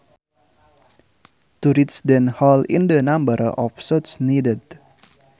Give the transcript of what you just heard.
To reach the hole in the number of shots needed